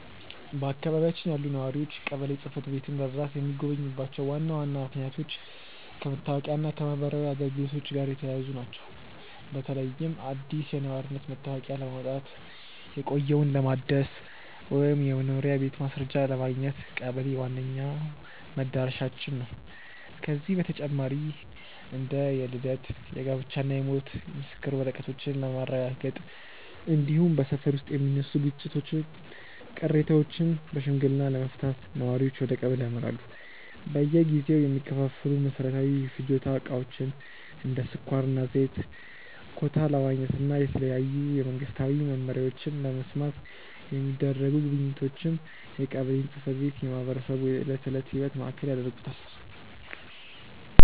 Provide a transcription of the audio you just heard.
በአካባቢያችን ያሉ ነዋሪዎች ቀበሌ ጽሕፈት ቤትን በብዛት የሚጎበኙባቸው ዋና ዋና ምክንያቶች ከመታወቂያና ከማኅበራዊ አገልግሎቶች ጋር የተያያዙ ናቸው። በተለይም አዲስ የነዋሪነት መታወቂያ ለማውጣት፣ የቆየውን ለማደስ ወይም የመኖሪያ ቤት ማስረጃ ለማግኘት ቀበሌ ዋነኛው መድረሻችን ነው። ከዚህ በተጨማሪ እንደ የልደት፣ የጋብቻና የሞት የምስክር ወረቀቶችን ለማረጋገጥ፣ እንዲሁም በሰፈር ውስጥ የሚነሱ ግጭቶችንና ቅሬታዎችን በሽምግልና ለመፍታት ነዋሪዎች ወደ ቀበሌ ያመራሉ። በየጊዜው የሚከፋፈሉ መሠረታዊ የፍጆታ ዕቃዎችን (እንደ ስኳርና ዘይት) ኮታ ለማግኘትና የተለያዩ መንግስታዊ መመሪያዎችን ለመስማት የሚደረጉ ጉብኝቶችም የቀበሌን ጽሕፈት ቤት የማኅበረሰቡ የዕለት ተዕለት ሕይወት ማዕከል ያደርጉታል።